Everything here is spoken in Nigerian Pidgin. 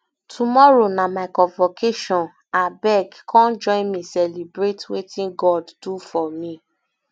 tomorrow na my convocation abeg come join me celebrate wetin god do for me